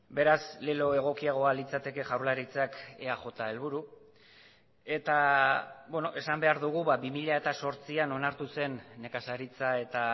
beraz lelo egokiagoa litzateke jaurlaritzak eaj helburu eta esan behar dugu bi mila zortzian onartu zen nekazaritza eta